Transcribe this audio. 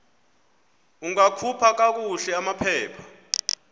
ungakhupha kakuhle amaphepha